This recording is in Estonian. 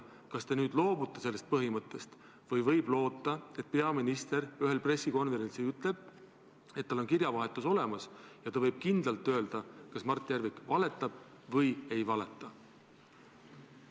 Kas te loobute sellest või võib loota, et peaminister ühel pressikonverentsil ütleb, et tal on kirjavahetus olemas ja ta võib kindlalt öelda, kas Mart Järvik valetab või ei valeta?